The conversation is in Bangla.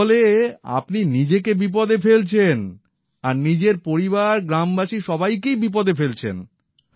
এর ফলে আপনি নিজেকে বিপদে ফেলছেন আবার নিজের পরিবার গ্রামবাসী সবাইকেই বিপদে ফেলছেন